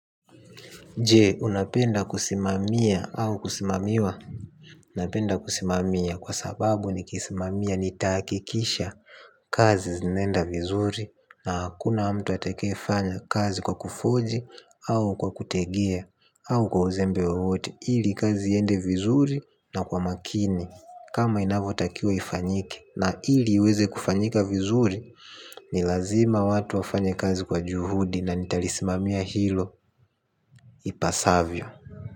Je, unapenda kusimamia au kusimamiwa? Napenda kusimamia kwasababu nikisimamia nitahakikisha kazi zinenda vizuri na hakuna mtu atakaefanya kazi kwa kufoji au kwa kutegea au kwa uzembe wowote ili kazi iende vizuri na kwa makini kama inavyotakiwa ifanyike na ili iweze kufanyika vizuri ni lazima watu wafanye kazi kwa juhudi na nitalisimamia hilo ipasavyo.